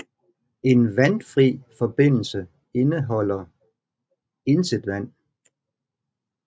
En vandfri forbindelse indholder intet vand